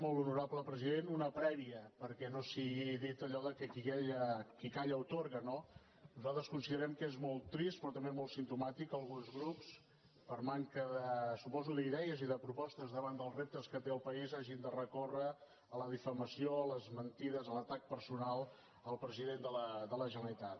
molt honorable president una prèvia perquè no sigui dit allò que qui calla atorga no nosaltres considerem que és molt trist però també molt simptomàtic que alguns grups per manca suposo d’idees i de propostes davant dels reptes que té el país hagin de recórrer a la difamació a les mentides a l’atac personal al president de la generalitat